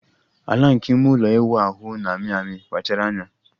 Ala nke ime ụlọ ịwụ ahụ na-amị amị, kpachara anya.